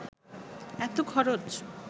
এত খরচ